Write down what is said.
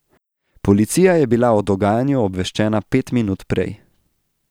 Policija je bila o dogajanju obveščena pet minut prej.